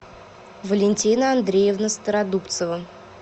валентина андреевна стародубцева